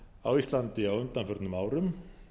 á íslandi á undanförnum árum